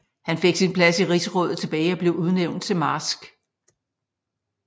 Han fik sin plads i rigsrådet tilbage og blev udnævnt til marsk